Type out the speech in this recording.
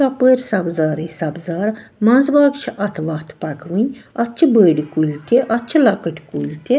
.ژۄپٲرۍسبزارٕے سبزارمنٛزباگ چھ اَتھ وَتھ پکہٕ وٕنۍاَتھ چھ بٔڑۍکُلۍتہِ اَتھ چھ لۄکٕٹۍکُلۍتہِ